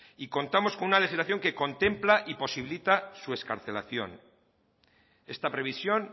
y contamos con una legislación que contempla y posibilita su excarcelación esta previsión